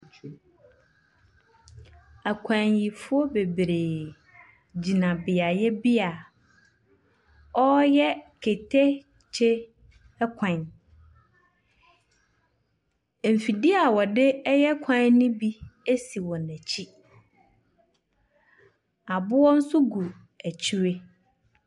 Akwanyifoɔ bebree gyina beaɛ bi a wɔn reyɛ keteke ɛkwan. Mfidie a wɔde reyɛ kwan no bi ɛsi wɔn akyi. Aboɔ nso gu akyire.